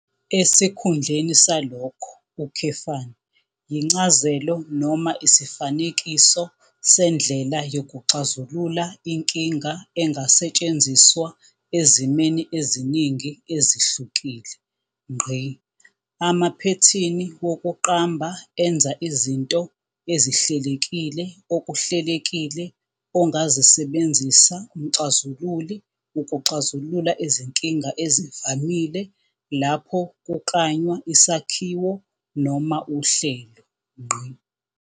Esikhundleni salokho, yincazelo noma isifanekiso sendlela yokuxazulula inkinga engasetshenziswa ezimeni eziningi ezihlukile. Amaphethini wokuqamba enza izinto ezihlelekile okuhlelekile ongazisebenzisa umxazululi ukuxazulula izinkinga ezivamile lapho kuklanywa isakhiwo noma uhlelo.